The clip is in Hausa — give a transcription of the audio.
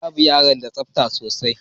Babur yana da tsabta sosai.